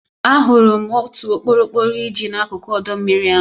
Ahụrụ m otu okporokporo iji n'akụkụ ọdọ mmiri ahụ.